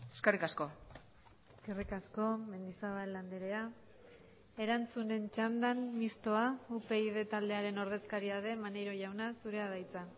eskerrik asko eskerrik asko mendizabal andrea erantzunen txandan mistoa upyd taldearen ordezkaria den maneiro jauna zurea da hitza